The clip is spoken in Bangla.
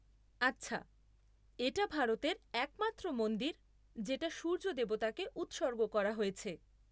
আচ্ছা, এটা ভারতের একমাত্র মন্দির যেটা সূর্য দেবতাকে উৎসর্গ করা হয়েছে।